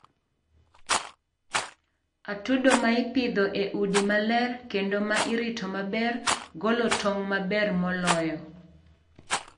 atudo ma ipidho e udi maler kendo ma irito maber, golo tong' maber moloyo.